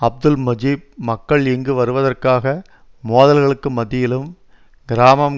அப்துல் முஜீப் மக்கள் இங்கு வருவதற்காக மோதல்களுக்கு மத்தியிலும் கிராமம்